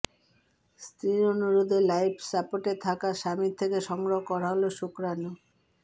স্ত্রীর অনুরোধে লাইফ সাপোর্টে থাকা স্বামীর থেকে সংগ্রহ করা হল শুক্রাণু